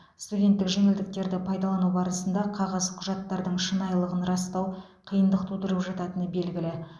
студенттік жеңілдіктерді пайдалану барысында қағаз құжаттардың шынайылығын растау қиындық тудырып жататыны белгілі